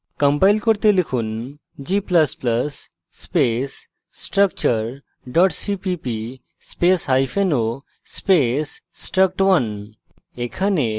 compile করতে লিখুন g ++ space structure cpp space hyphen o space struct1